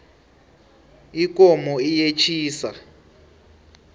ikomo iyetjisa